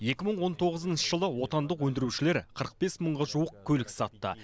екі мың он тоғызыншы жылы отандық өндірушілер қырық бес мыңға жуық көлік сатты